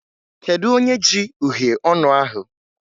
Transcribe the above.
Kedu onye ji uhiè ọnụ ahụ?